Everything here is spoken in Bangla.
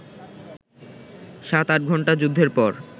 সাত-আট ঘণ্টা যুদ্ধের পর